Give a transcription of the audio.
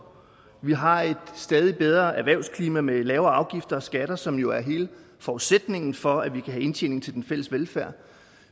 vi har et stadig bedre erhvervsklima med lavere afgifter og skatter som jo er hele forudsætningen for at vi kan have indtjening til den fælles velfærd